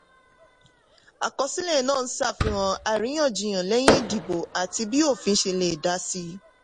àkọsílẹ̀ náà ń ṣàfihàn àríyànjiyàn lẹ́yìn ìdìbò àti bí òfin ṣe lè dá síi.